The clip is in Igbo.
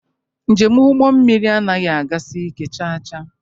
Njem ụgbọ mmiri anaghị agasi ike chaa chaa.